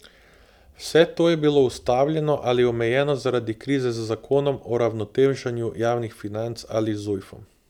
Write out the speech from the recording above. Vse to je bilo ustavljeno ali omejeno zaradi krize z Zakonom o uravnoteženju javnih financ ali Zujfom.